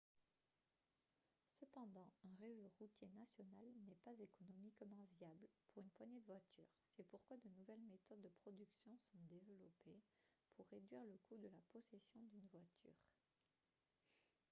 cependant un réseau routier national n'est pas économiquement viable pour une poignée de voitures c'est pourquoi de nouvelles méthodes de production sont développées pour réduire le coût de la possession d'une voiture